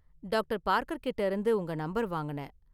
Doctor Parker கிட்ட இருந்து உங்க நம்பர் வாங்குனேன்.